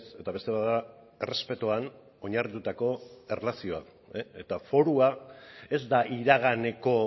eta beste bat da errespetuan oinarritutako erlazioa eta forua ez da iraganeko